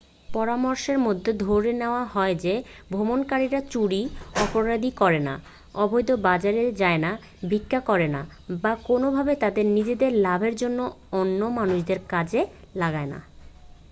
পরামর্শের মধ্যে ধরে নেওয়া হয় যে ভ্রমণকারীরা চুরি অপরাধ করে না অবৈধ বাজারে যায় না ভিক্ষা করে না বা কোনোভাবে তাদের নিজেদের লাভের জন্য অন্য মানুষদের কাজে লাগায় না